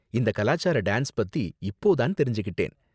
இந்த கலாச்சார டான்ஸ் பத்தி இப்போ தான் தெரிஞ்சுக்கிட்டேன்.